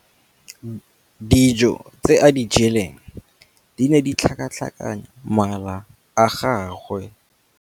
Dijô tse a di jeleng di ne di tlhakatlhakanya mala a gagwe.